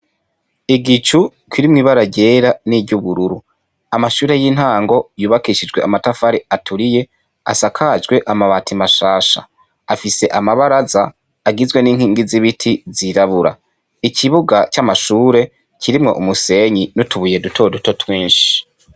Igicu kirimwo ibara ryera niry'ubururu. Amashure y'intango yubakishijwe amatafari aturiye asakajwe amabati mashasha. Afise amabaraza agizwe n'inkingi z'ibiti zirabura. Ikibuga c'amashure kirimwo umusenyi n'utubuye duto duto twinshi.